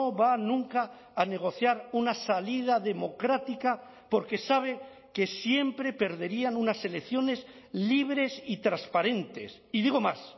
va nunca a negociar una salida democrática porque sabe que siempre perderían unas elecciones libres y transparentes y digo más